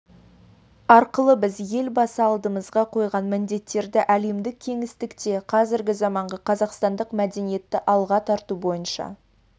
арқылы біз елбасы алдымызға қойған міндеттерді әлемдік кеңістікте қазіргі заманғы қазақстандық мәдениетті алға тарту бойынша